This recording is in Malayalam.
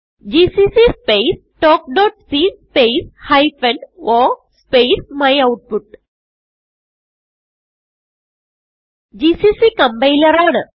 ജിസിസി സ്പേസ് talkസി സ്പേസ് ഹൈഫൻ o സ്പേസ് മ്യൂട്ട്പുട്ട് ജിസിസി കംപൈലർ ആണ്